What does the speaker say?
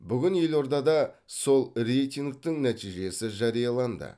бүгін елордада сол рейтингтің нәтижесі жарияланды